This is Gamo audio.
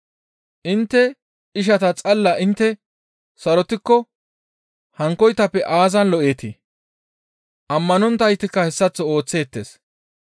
Intte ishata xalla intte sarotikko hankkoytappe aazan lo7eetii? Ammanonttaytikka hessaththo ooththeettes.